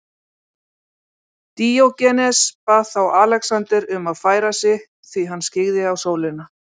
Díógenes bað þá Alexander um að færa sig því hann skyggði á sólina.